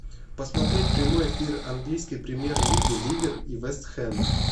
посмотреть прямой эфир английской премьер лиги ливер и вест хэм